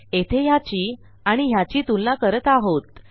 येथे ह्याची आणि ह्याची तुलना करत आहोत